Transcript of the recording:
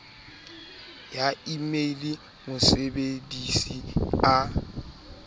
ya e mail mosebedisi a